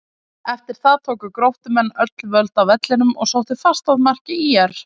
Eftir það tóku Gróttumenn öll völd á vellinum og sóttu fast að marki ÍR.